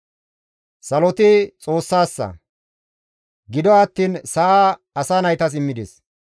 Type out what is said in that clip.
Saloti Xoossassa; gido attiin sa7a asa naytas immides.